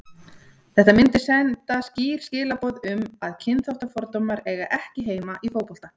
Þetta myndi senda skýr skilaboð um að kynþáttafordómar eiga ekki heima í fótbolta.